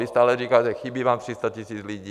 Vy stále říkáte, chybí vám 300 000 lidí.